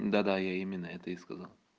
да-да я именно это и сказал